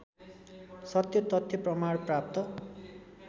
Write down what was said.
सत्यतथ्य प्रमाण प्राप्त